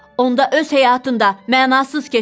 Onda öz həyatın da mənasız keçər.